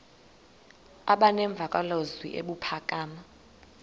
aba nemvakalozwi ebuphakama